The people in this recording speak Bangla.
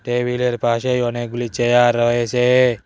টেবিলের পাশেই অনেকগুলি চেয়ার রয়েছে।